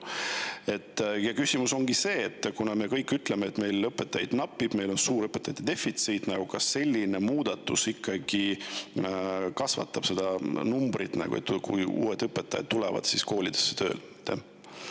Küsimus on: kuna meil õpetajaid napib, meil on suur õpetajate defitsiit, siis kas selline muudatus kasvatab ikka uute õpetajate arvu, kes koolidesse tööle tulevad?